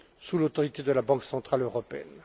sous l'autorité de la Banque centrale européenne.